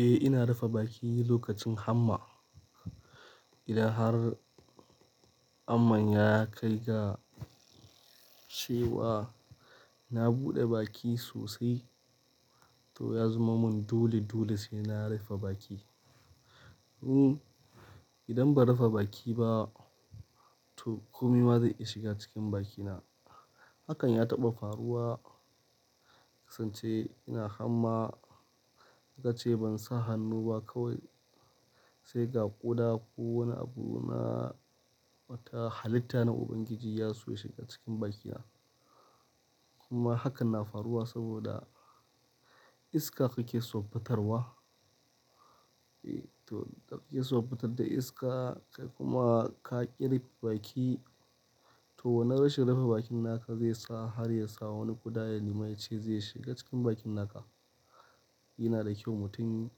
Eh ina rufa baki lokacin hamma. Idan har haman ya kai ga cewa na buɗe baki sosai to ya zama mun dole dole sai na rufa baki. Idan ba rufa baki ba to komai ma zai iya shiga cikin bakina. Hakan ya taɓa faruwa kasance ina hamma, gashi ban sa hannu ba kawai sai ga ƙuda ko wani abu na wata halitta na ubangiji ya so ya shiga cikin bakina. Kuma hakan na faruwa saboda iska kuke son fitarwa. Eh to ka fitar da iska kai kuma ka ƙi rufe baki to wanan rashin rufa bakin naka zai sa har ya sa wani ƙuda ya nima yace zai shiga cikin bakin naka. Yana da kyau mutum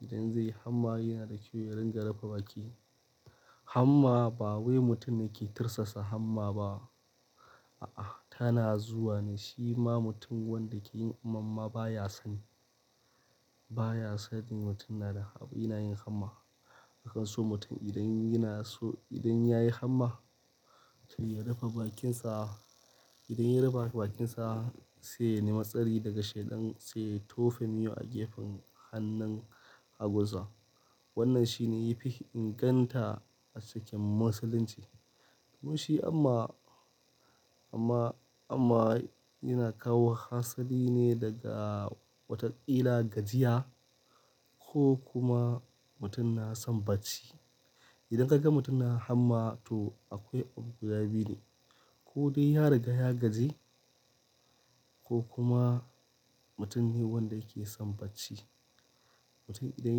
idan zai hamma yana da kyau ya ringa rufa baki. Hamma ba wai mutum ne ke tirsasa hamma ba. A'a tana zuwa ne shi ma mutum wanda ke yin hamman ma ba ya so. Ba ya sanin mutum yana da abu yana yin hamma. Aka so mutum idan yana so idan yayi hamma to ya rufe bakinsa. Idan ya refe bakinsa saiya nema tsari daga shaidan sai tofe miyau a gefen hannun hagunsa. Wannan shine yafi inganta a cikin musulunci. Kuma shi hamma, amma, hamma yana kawo hasali ne daga wataƙila gajiya ko kuma mutum na son bacci. Idan ka ga mutum yana hamma to akwai abu guda biyu ne. Ko dai ya riga ya gaji ko kuma mutum ne wanda yake son bacci. Mutum idan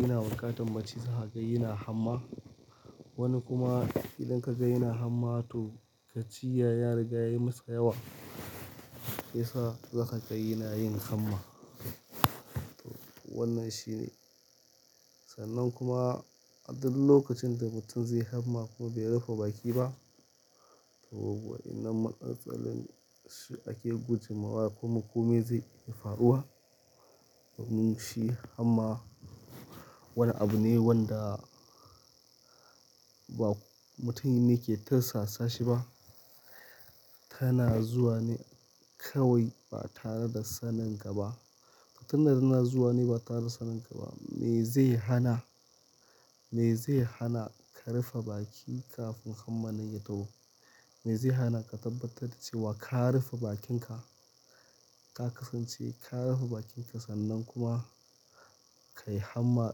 yanada buƙatar bacci zakaga yana hamma. Wani kuma idan ka ga yana hamma to gajiya riga ya yi masa yawa. Shiyasa zakaga yana yin hamma. To wannan shine. Sannan kuma a duk lokacin da mutum zaiyi hamma kuma bai rufe baki ba to waɗannan matsaltsalun shi ake guje ma wa kuma kome zai iya faruwa. Musulunci hamma wani abu ne wanda ba mutum ne ke tirsasashi ba. Tana zuwa ne kawai ba tare da sanin ka ba. Tana zuwa ne ba tare da sanin ka ba. Me zai hana? Me zai hana ka rafe baki kafin hamma nan ya taho? Me zai hana ka tabbatar da cewa ka rufe bakinka? Ka kasance ka rufe bakinka sannan kuma ka yi hamma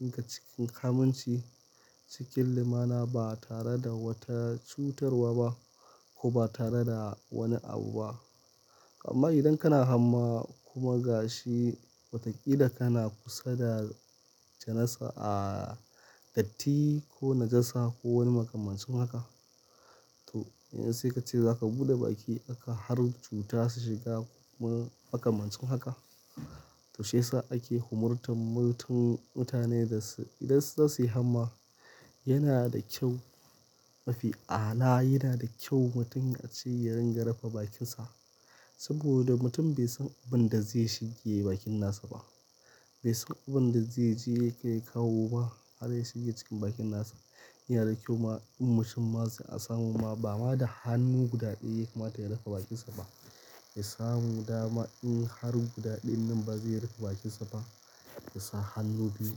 ɗinka cikin aminci cikin lumana ba tare da wata cutarwa ba ko ba tare da wani abu ba. Amma idan kana hamma kuma gashi wataƙila kana kusa da janasa a datti ko najasa ko wani makamancin haka to yanzu sai kace za ka buɗe baki haka har cuta su shiga ko makamancin haka. To shiyasa ake umurtar mutane da su idan za su yi hamma yana da kyau mafi a'ala yana da kyau mutum a ce ya ringa rufe bakinsa. Saboda mutum bai san abin da zai shige bakin nasa ba. Bai san abin da zai je yake kawo ba har ya shige cikin bakin nasa. Yana da kyau ma in mutum ma zai samu ma ba ma da hannu guda ɗaya kamata ya rufe bakinsa ba. Yasamu dama in har guda ɗayan nan bazai rufe bakinsa ba yasa hannu biyu,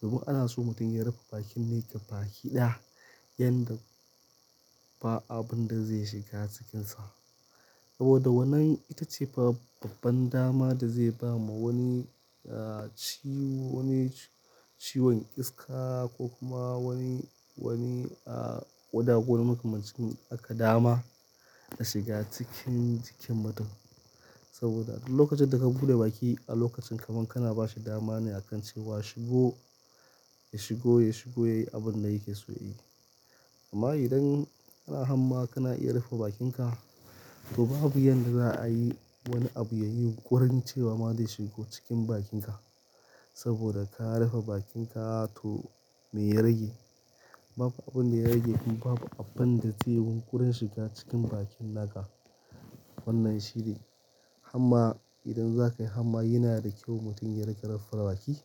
domin anaso mutum ya rufe bakin ne gabaki ɗaya, yanda ba abunda zai shiga cikinsa saboda wannan ita ce babban dama da zai ba ma wani ciwon iska ko kuma wani, wani ƙuda ko makamancin haka dama a shiga cikin jikin mutum. Saboda a duk lokacin da ka buɗe baki a lokacin kaman kana ba su dama ne akan cewa shigo ya shigo, ya shigo yayi abin da yake so yayi. Amma idan kana hamma kana iya rafa bakinka to babu yanda za a yi wani abu yayi yunƙurin cewa ma zai shigo cikin bakinka. Saboda ka rafa bakinka to me ya rage? Babu abin da ya rage kuma babu abin da zai yunƙurin shiga cikin bakin naka. Wannan shine hamma idan za ka yi hamma yana da kyau mutum ya ringa rufe baki.